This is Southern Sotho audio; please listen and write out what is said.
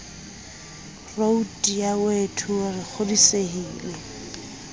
roud ya wto re kgodisehile